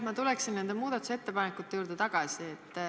Ma tuleksin meie muudatusettepanekute juurde tagasi.